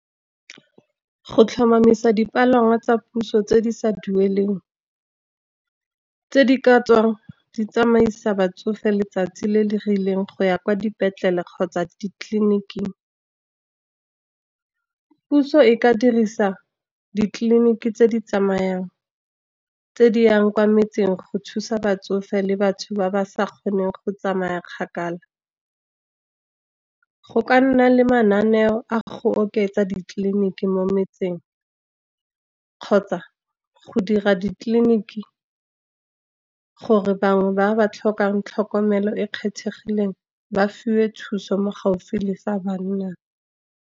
Go tlhomamisa dipalangwa tsa puso tse di sa duelweng, tse di ka tswang di tsamaisa batsofe letsatsi le le rileng go ya kwa dipetlele kgotsa ditleliniking. Puso e ka dirisa ditleliniki tse di tsamayang, tse di yang kwa metseng go thusa batsofe le batho ba ba sa kgoneng go tsamaya kgakala. Go ka nna le mananeo a go oketsa ditleliniki mo metseng, kgotsa go dira ditleliniki gore bangwe ba ba tlhokang tlhokomelo e e kgethegileng, ba fiwe thuso mo gaufi le fa bannang.